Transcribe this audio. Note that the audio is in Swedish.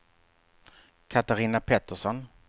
Catarina Pettersson